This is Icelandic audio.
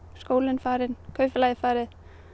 skólinn farinn kaupfélagið farið